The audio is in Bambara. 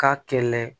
K'a kɛlɛ